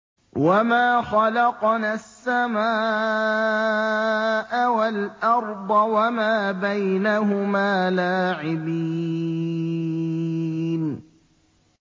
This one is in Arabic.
وَمَا خَلَقْنَا السَّمَاءَ وَالْأَرْضَ وَمَا بَيْنَهُمَا لَاعِبِينَ